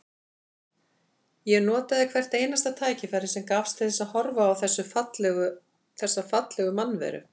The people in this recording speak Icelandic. Ég notaði hvert einasta tækifæri sem gafst til þess að horfa á þessa fallegu mannveru.